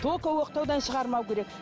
только оқтаудан шығармау керек